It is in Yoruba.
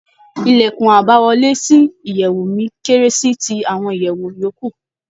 Ìlèkùn àbáwọlé sí ìyèwù mi kéré sí ti àwọn ìyèwù yòókù.